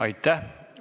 Aitäh!